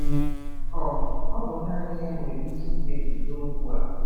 um Ọ bụ naanị ya nwere ike ikpebi n'okwu a.